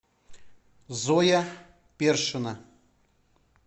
зоя першина